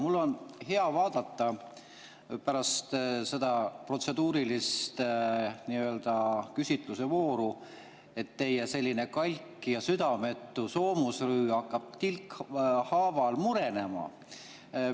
Mul on hea vaadata pärast seda protseduurilist küsitlusevooru, et teie kalk ja südametu soomusrüü hakkab tilkhaaval murenema.